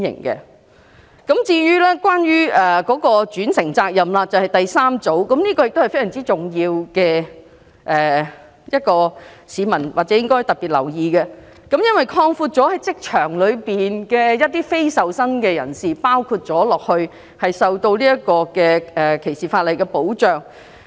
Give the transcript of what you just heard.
第三組修正案關乎轉承責任，同樣非常重要，市民應該特別留意，因為轉承責任的適用範圍擴闊至包括工作場所的非受薪人士，令他們同樣受到反歧視條例的保障。